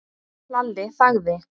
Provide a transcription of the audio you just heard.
Lalli þagði.